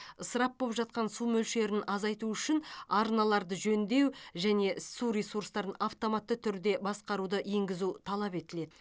ысырап боп жатқан су мөлшерін азайту үшін арналарды жөндеу және су ресурстарын автоматты түрде басқаруды енгізу талап етіледі